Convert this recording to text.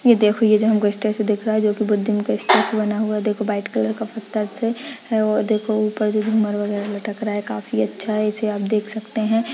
ये देखो ये जो हम को स्टेचू दिख रहा है जो की भुधिम का स्टेचू बना हुआ है देखो वाइट कलर पत्थर से देखो ऊपर जो जुमर वगैहरा लटक रहा है काफी अच्छा है इसे आप देख सकते हैं।